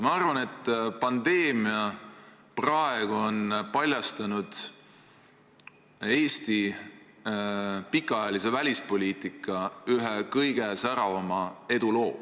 Ma arvan, et praegune pandeemia on paljastanud Eesti pikaajalise välispoliitika ühe kõige säravama eduloo.